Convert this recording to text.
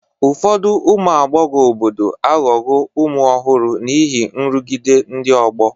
Ụfọdụ ụmụ agbọghọ obodo aghọwo ụmụ ọhụrụ n'ihi nrụgide ndị ọgbọ